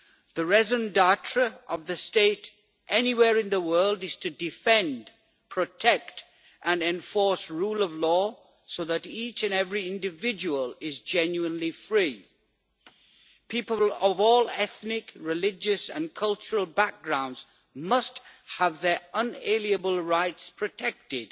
The raison d'être of the state, anywhere in the world, is to defend, protect and enforce the rule of law so that each and every individual is genuinely free. People of all ethnic, religious and cultural backgrounds must have their unalienable rights protected,